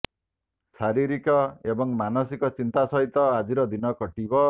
ଶାରୀରିକ ଏବଂ ମାନସିକ ଚିନ୍ତା ସହିତ ଆଜିର ଦିନ କଟିବ